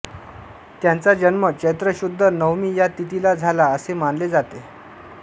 त्यांचा जन्म चैत्र शुद्ध नवमी या तिथीला झाला असे मानले जाते